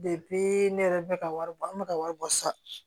ne yɛrɛ bɛ ka wari bɔ an bɛ ka wari bɔ sa